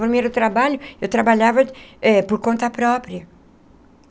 Primeiro trabalho, eu trabalhava eh por conta própria.